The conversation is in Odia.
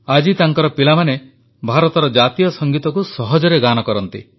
ଆଜି ତାଙ୍କର ପିଲାମାନେ ଭାରତର ଜାତୀୟ ସଂଗୀତକୁ ସହଜରେ ଗାଆନ୍ତି